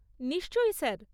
নিশ্চয়ই স্যার।